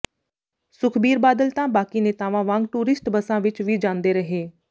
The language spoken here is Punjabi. ਸੁਖਬੀਰ ਬਾਦਲ ਤਾਂ ਬਾਕੀ ਨੇਤਾਵਾਂ ਵਾਂਗ ਟੂਰਿਸਟ ਬੱਸਾਂ ਵਿਚ ਵੀ ਜਾਂਦੇ ਰਹੇ